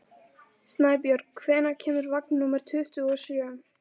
Snæbjörg, hvenær kemur vagn númer tuttugu og sjö?